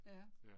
Ja